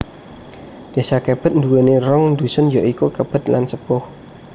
Désa Kebet nduwèni rong dusun ya iku Kebet lan Sepuh